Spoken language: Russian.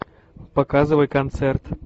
показывай концерт